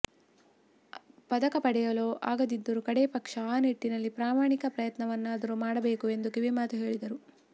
ಪದಕ ಪಡೆಯಲು ಆಗದಿದ್ದರೂ ಕಡೇ ಪಕ್ಷ ಆ ನಿಟ್ಟಿನಲ್ಲಿ ಪ್ರಾಮಾಣಿಕ ಪ್ರಯತ್ನವನ್ನಾದರೂ ಮಾಡಬೇಕು ಎಂದು ಕಿವಿಮಾತು ಹೇಳಿದರು